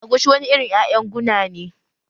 Agushi wani irin ƴaƴan guna ne